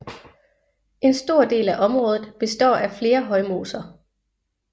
En stor del af området består af flere højmoser